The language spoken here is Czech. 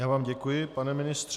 Já vám děkuji, pane ministře.